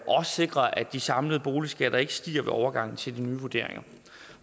sikrer at de samlede boligskatter ikke stiger ved overgangen til de nye vurderinger